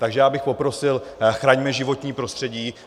Takže já bych poprosil, chraňme životní prostředí.